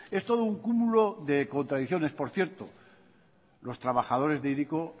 es todo un cumulo de contradicciones por cierto los trabajadores de hiriko